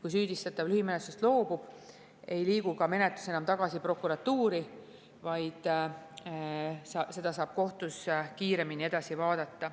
Kui süüdistatav lühimenetlusest loobub, ei liigu menetlus enam tagasi prokuratuuri, vaid asja saab kohtus kiiremini edasi vaadata.